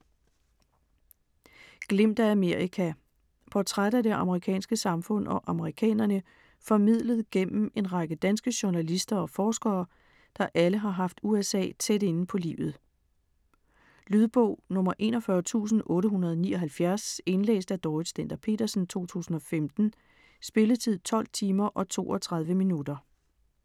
Glimt af Amerika Portræt af det amerikanske samfund og amerikanerne formidlet igennem en række danske journalister og forskere, der alle har haft USA tæt inde på livet. Lydbog 41879 Indlæst af Dorrit Stender-Petersen, 2015. Spilletid: 12 timer, 32 minutter.